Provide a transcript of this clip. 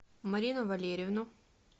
марину валерьевну